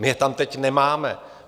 My je tam teď nemáme.